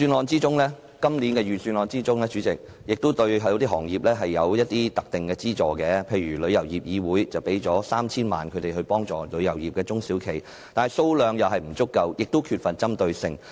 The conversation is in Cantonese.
主席，今年的財政預算案對某些行業有一些特定的資助，例如向香港旅遊業議會撥款 3,000 萬元以幫助旅遊業的中小企，但金額並不足夠，亦缺乏針對性。